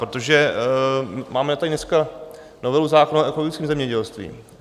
Protože máme tady dneska novelu zákona o ekologickém zemědělství.